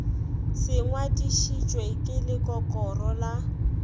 se ngadišitšwe ke lekokoro la